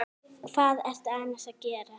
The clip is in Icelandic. Hvað ertu annars að gera?